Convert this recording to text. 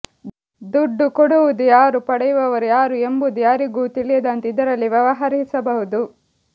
ದುಡ್ಡು ಕೊಡುವುದು ಯಾರು ಪಡೆಯುವವರು ಯಾರು ಎಂಬುದು ಯಾರಿಗೂ ತಿಳಿಯದಂತೆ ಇದರಲ್ಲಿ ವ್ಯವಹರಿಸಬಹುದು